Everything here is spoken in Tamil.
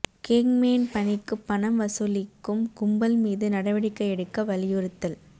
கேங்மேன் பணிக்கு பணம் வசூலிக்கும் கும்பல் மீது நடவடிக்கை எடுக்க வலியுறுத்தல்